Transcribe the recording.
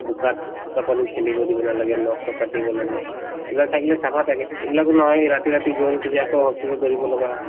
বোকাত বোকা-পানীত খেলিব দিব নালাগে নখ চখ কাটিব লাগে এইবিলাক থাকিলে চাফা থাকে এইবিলাকো নহয়ে ৰাতি ৰাতি hospital ত দৌৰিব লগা হয়